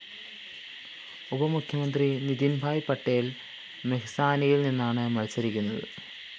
ഉപമുഖ്യമന്ത്രി നിതിന്‍ഭായ് പട്ടേല്‍ മെഹ്‌സാനയില്‍ നിന്നാണ് മത്സരിക്കുന്നത്